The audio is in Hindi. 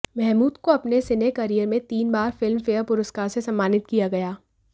महमूद को अपने सिने कैरियर मे तीन बार फिल्म पेयर पुरस्कार से सम्मानित किया गया